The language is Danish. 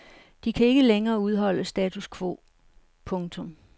De kan ikke længere udholde status quo. punktum